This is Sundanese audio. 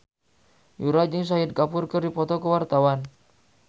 Yura jeung Shahid Kapoor keur dipoto ku wartawan